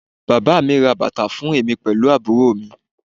Bàbá mi ra bàtà fún èmi pẹ̀lú àbúrò mi